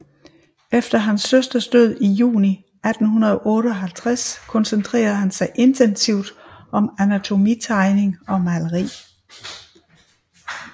Efter hans søsters død i juni 1858 koncentrede han sig intensivt med anatomitegning og maleri